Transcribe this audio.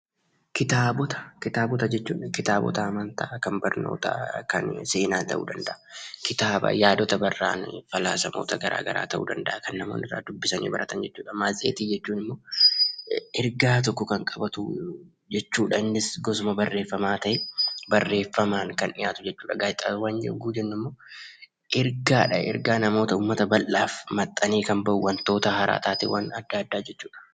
Kitaabota, kitaabota jechuun kitaaboota amanta kan barnoota, kan seena ta'u danda'a. Kitaaba yaadoota barra'aan, falaasama garaagaraa ta'u danda'a. Kan namoonni irraa dubbisani baratan, maasxeetii jechuun immoo erga tokko kan qabatu jechudha. Innis gosuma barreeffama ta'e, barreeffaman kan dhi'atu jechudha. gaazeexawwaan yemmuu jennummo ergadha. ergaa namoota uummata bal'aaf maxxane kan ba'u wantoota haaraa, taateewwaan addaa, adda jechudha.